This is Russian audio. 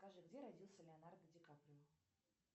скажи где родился леонардо ди каприо